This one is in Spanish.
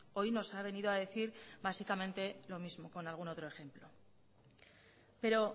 hoy nos ha venido a decir básicamente lo mismo con algún otro ejemplo pero